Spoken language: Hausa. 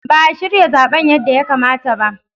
Ba a shirya zaben yadda ya kamata ba.